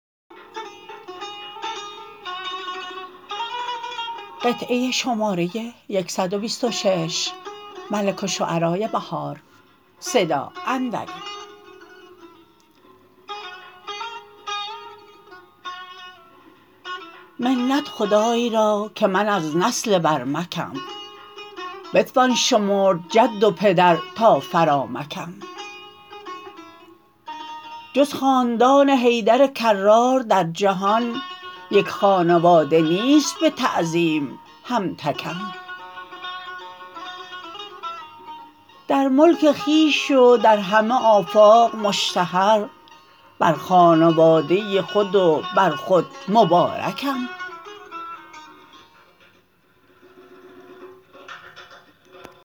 منت خدای را که من از نسل برمکم بتوان شمرد جد و پدر تا فرامکم جز خاندان حیدر کرار در جهان یک خانواده نیست به تعظیم هم تکم در ملک خویش و در همه آفاق مشتهر بر خانواده خود و بر خود مبارکم